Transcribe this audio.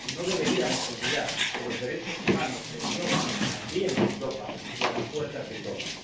Y no deberíamos olvidar que los derechos humanos se violan también en Europa y a las puertas de Europa.